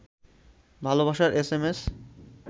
ভালবাসার এসএমএস